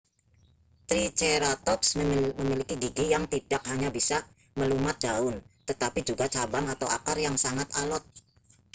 triceratops memiliki gigi yang tidak hanya bisa melumat daun tetapi juga cabang atau akar yang sangat alot